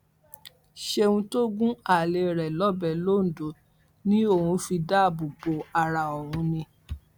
ṣéun tó gun alẹ rẹ lọbẹ londo ni òun fi dáàbòbò ara òun ni